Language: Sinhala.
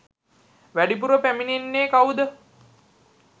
වැඩිපුර පැමිණෙන්නේ කවුද?